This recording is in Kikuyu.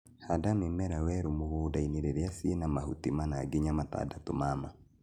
Handa mĩmera werũ mũgũndainĩ rĩrĩ ciĩna mahuti mana nginya matandatũ ma ma